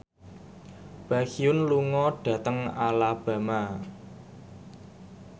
Baekhyun lunga dhateng Alabama